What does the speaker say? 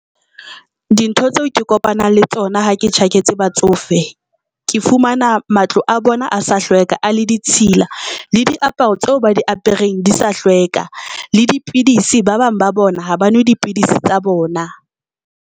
Dintho tseo ke kopanang le tsona ha ke tjhaketse batsofe ke fumana matlo a bona asa hlweka a le ditshila le diaparo tseo ba diapereng di sa hlweka, le dipidisi ba bang ba bona ha ba nwe dipidisi tsa bona.